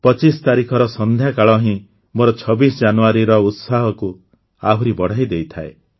୨୫ ତାରିଖର ସନ୍ଧ୍ୟା କାଳ ହିଁ ମୋର ୨୬ ଜାନୁଆରୀର ଉତ୍ସାହକୁ ଆହୁରି ବଢ଼ାଇ ଦେଇଥାଏ